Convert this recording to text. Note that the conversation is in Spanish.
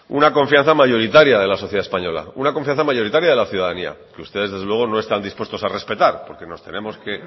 una confianza mayoritaria de la sociedad española una confianza mayoritaria de la ciudadanía que ustedes desde luego no están dispuestos a respetar porque nos tenemos que